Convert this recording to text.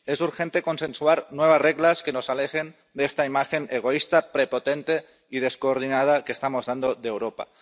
Es urgente consensuar nuevas reglas que nos alejen de esta imagen egoísta, prepotente y descoordinada que estamos dando de Europa.